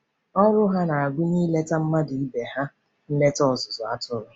Ọrụ ha na-agụnye ileta ndị mmadụ ibe ha nleta ọzụzụ atụrụ.